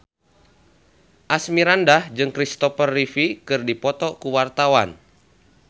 Asmirandah jeung Christopher Reeve keur dipoto ku wartawan